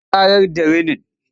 Sun ƙarar da rinin.